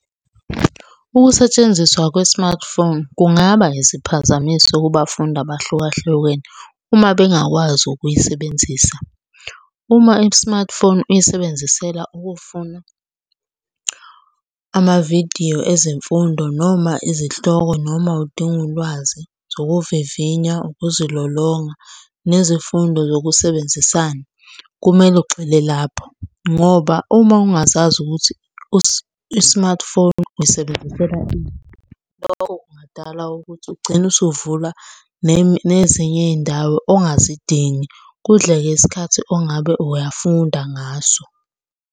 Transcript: Ukusetshenziswa kwe-smartphone kungaba yisiphazamiso kubafundi abahlukahlukene uma bengakwazi ukuyisebenzisa. Uma i-smartphone uyisebenzisela ukufuna amavidiyo ezemfundo noma izihloko, noma udinga ulwazi. Zokuvivinywa, ukuzilolonga, nezifundo zokusebenzisana, kumele ugxile lapho ngoba uma ungazazi ukuthi i-smartphone uyisebenzisela ini, lokho kungadala ukuthi ugcine usuvula nezinye iy'ndawo ongazidingi kudleke isikhathi ongabe uyafunda ngaso.